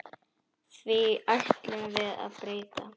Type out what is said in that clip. Því ætlum við að breyta.